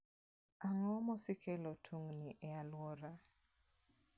Ang'o mosekelo tungni e alworau?